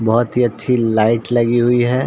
बहोत ही अच्छी लाइट लगी हुई है।